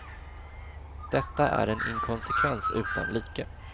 Detta är en inkonsekvens utan like.